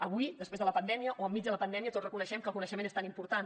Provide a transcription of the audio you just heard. avui després de la pandèmia o enmig de la pandèmia tots reconeixem que el coneixement és tan important